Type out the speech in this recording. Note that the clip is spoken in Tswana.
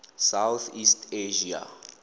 south east asia